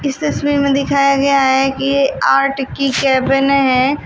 इस तस्वीर में दिखाया गया है कि आर्ट की केबिन है।